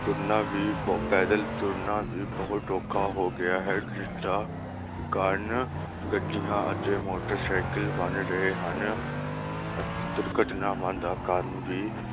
ਤੁਰਨਾ ਵੀ ਪੈਦਲ ਤੁਰਨਾ ਵੀ ਬਹੁਤ ਔਖਾ ਹੋ ਗਿਆ ਹੈ ਜਿਸਦਾ ਕਾਰਨ ਗੱਡੀਆਂ ਅਤੇ ਮੋਟਰਸਾਈਕਲ ਬਣ ਰਹੇ ਹਨ ਦੁਰਘਟਨਾਵਾ ਦਾ ਕਾਰਨ ਵੀ